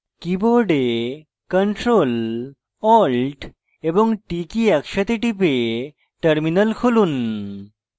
keyboard ctrl + alt + t key একসাথে টিপে terminal খুলুন